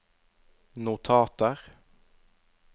notater